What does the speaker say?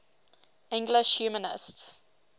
english humanists